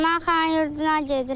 Mən Xanyurduna gedirəm.